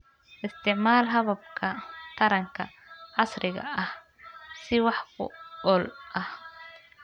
Isticmaal hababka taranka casriga ah si wax ku ool ah.